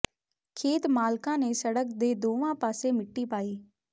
ਖੇਤ ਮਾਲਕਾਂ ਨੇ ਸੜਕ ਦੇ ਦੋਵਾਂ ਪਾਸੇ ਮਿੱਟੀ ਪਾਈ